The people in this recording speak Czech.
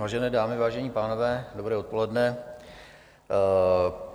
Vážené dámy, vážení pánové, dobré odpoledne.